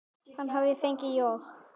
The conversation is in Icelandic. Hann hafði fengið John